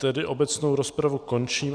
Tedy obecnou rozpravu končím.